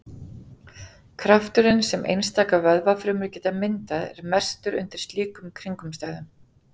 Krafturinn sem einstakar vöðvafrumur geta myndað er mestur undir slíkum kringumstæðum.